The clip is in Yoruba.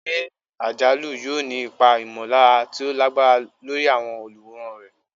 Eré àjálù yóò ní ipa ìmọ̀lára tí ó lágbára lórí àwọn olùwòran rẹ̀.